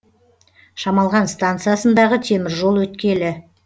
шамалған станциясындағы теміржол өткелі